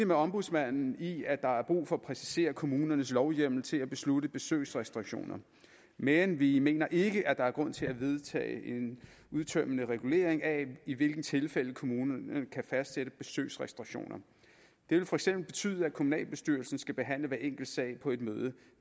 med ombudsmanden i at der er brug for at præcisere kommunernes lovhjemmel til at beslutte besøgsrestriktioner men vi mener ikke at der er grund til at vedtage en udtømmende regulering af i hvilke tilfælde kommunerne kan fastsætte besøgsrestriktioner det vil for eksempel betyde at kommunalbestyrelsen skal behandle hver enkelt sag på et møde